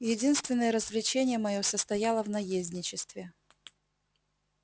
единственное развлечение моё состояло в наездничестве